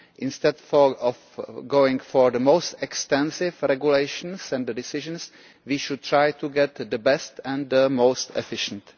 Instead of going for the most extensive regulations and decisions, we should try to get the best and the most efficient.